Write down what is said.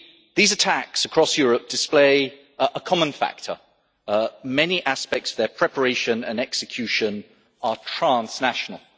These attacks across Europe display a common factor many aspects of their preparation and execution are transnational.